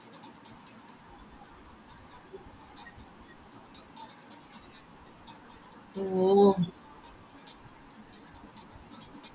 ഓ